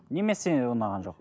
немесі ұнаған жоқ